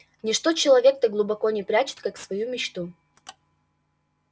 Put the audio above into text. ничто человек так глубоко не прячет как свою мечту